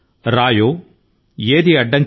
గులకరాళ్ళు అయినా రాళ్ళు అయినా ఏమి చేయగలవు